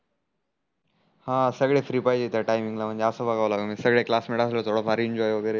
अं सगडे फ्री पाहिजे त्या टाइम ला म्हणजे आस बघाव लागण सगडे क्लासमेट असले थोड फार एंजॉय वगेरे